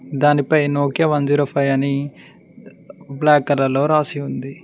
దానిపై Nokia one zero five అని black colour లో రాసి ఉంది.